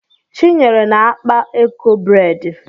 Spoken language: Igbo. Chinyere na-akpa eko bredi